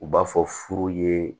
U b'a fɔ furu yee